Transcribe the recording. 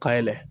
Ka yɛlɛ